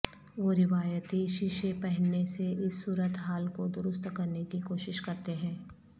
وہ روایتی شیشے پہننے سے اس صورت حال کو درست کرنے کی کوشش کرتے ہیں